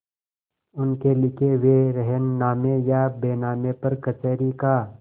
उनके लिखे हुए रेहननामे या बैनामे पर कचहरी का